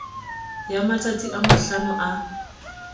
ya matsatsi a mahlano a